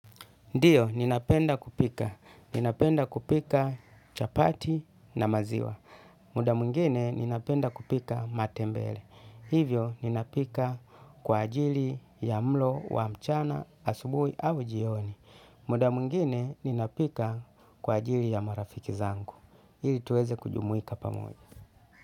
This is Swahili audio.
Ndiyo, ninapenda kupika. Ninapenda kupika chapati na maziwa. Muda mwingine, ninapenda kupika matembele. Hivyo, ninapika kwa ajili ya mlo, wa mchana, asubui au jioni. Muda mungine, ninapika kwa ajili ya marafiki zangu. Ili tuweze kujumuika pamoja.